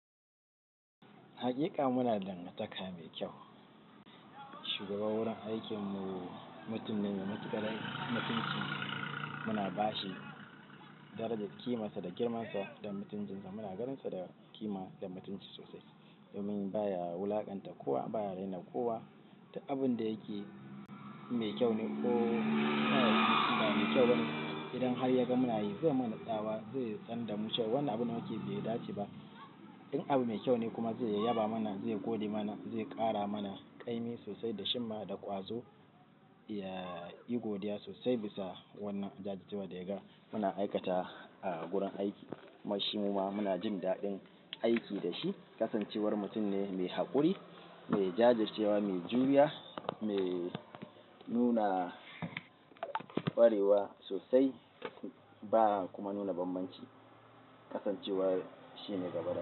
Haƙiƙa muna da dangantaka mai kyau. Shugaban wurin aikin mu mutum ne mai matuƙar mutunci. Muna ba shi darajar ƙimarsa da girmansa da mutuncinsa. Muna ganinsa da ƙima da mutunci sosai. Domin ba ya wulaƙanta kowa, ba ya raina kowa duk abin da yake mai kyau ne ko ba kyau. Wannan idan har yaga munayi zai mana tsawa, zai tsanda mu cewa. Wannan abun da muke bai dace ba. In abu mai kyau ne kuma zai yaba mana, zai gode mana, zai ƙara mana ƙaimi sosai da jimma da ƙwazo. Eh, ya yi godiya sosai bisa wannan jajircewa da ya ga. Muna aikatwa a gurin aiki kuma shi--- muna jin daɗin aiki da shi. Kasancewar mutum ne mai haƙuri, mai jajircewa, mai juriya, mai nuna ƙwarewa sosai. Ba kuma nuna bambanci. Kasancewar shi ne gaba da.